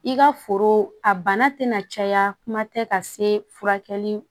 I ka foro a bana tɛna caya kuma tɛ ka se furakɛli